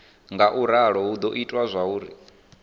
ngauralo hu do ita zwauri